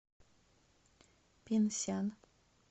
пинсян